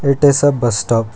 It is a bus stop.